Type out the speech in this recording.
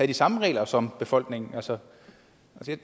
de samme regler som befolkningen altså